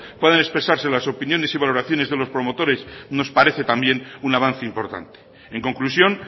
puedan expresarse las opiniones y valoraciones de los promotores nos parece también un avance importante en conclusión